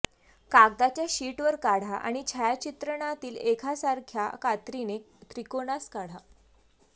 कागदाच्या शीटवर काढा आणि छायाचित्रणातील एकासारख्या कात्रीने त्रिकोणास काढा